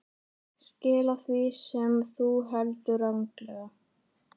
Skila því sem þú heldur ranglega.